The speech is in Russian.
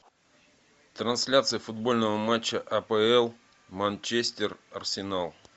трансляция футбольного матча апл манчестер арсенал